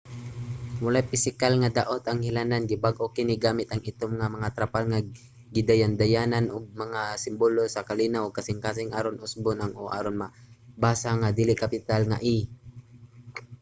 walay pisikal nga daot ang ilhanan; gibag-o kini gamit ang itom nga mga trapal nga gidayandayanan og mga simbolo sa kalinaw ug kasing-kasing aron usbon ang o aron mabasa nga dili-kapital nga e